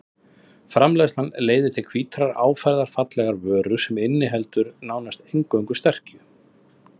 Framleiðslan leiðir til hvítrar áferðarfallegrar vöru sem inniheldur nánast einungis sterkju.